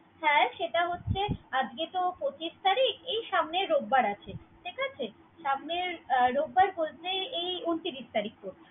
হ্যা সেটা হচ্ছে। আজকে তো পচিশ তারিখ। এই সামনে রোববার আছে। ঠিক আছে। সামনে রোববার বলতে এই ঊনত্রিশ তারিখ পরবে।